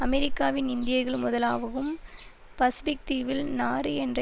அமெரிக்காவின் இந்தியர்கள் முதலாகவும் பசுபிக்தீவில் நாறு என்ற